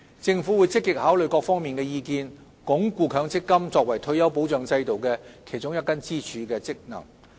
政府會積極考慮各方意見，鞏固強積金作為退休保障制度的其中一根支柱的功能。